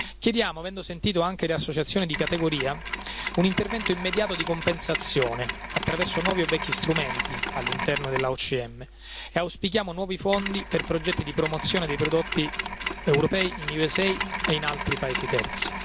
Chiediamo, avendo sentito anche le associazioni di categoria, un intervento immediato di compensazione attraverso nuovi o vecchi strumenti all'interno dell'OMC e auspichiamo nuovi fondi per progetti di promozione dei prodotti europei negli USA e in altri paesi terzi.